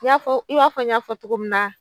Y'a fɔ i b'a fɔ n y'a fɔ togo min na.